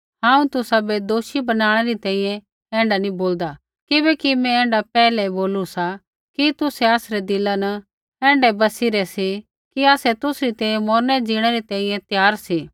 हांऊँ तुसाबै दोषी बनाणै री तैंईंयैं ऐण्ढा नी बोलदा किबैकि मैं ऐण्ढा पैहलै ही बोलू सा कि तुसै आसरै दिला न ऐण्ढै बसी रै सी कि आसै तुसरी तैंईंयैं मौरने ज़ीणै री तैंईंयैं त्यार सी